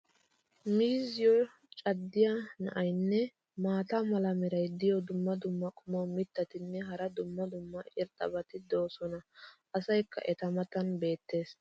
miizziyo caddiya na'iyaanne maata mala meray diyo dumma dumma qommo mitattinne hara dumma dumma irxxabati de'oosona. Asaykka eta matan beetees.